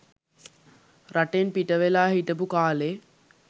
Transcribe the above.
රටෙන් පිටවෙලා හිටපු කාළේ